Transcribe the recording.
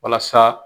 Walasa